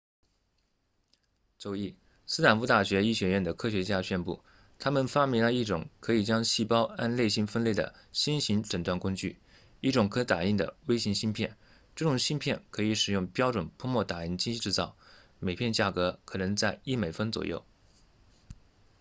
周一斯坦福大学医学院的科学家宣布他们发明了一种可以将细胞按类型分类的新型诊断工具一种可打印的微型芯片这种芯片可以使用标准喷墨打印机制造每片价格可能在一美分左右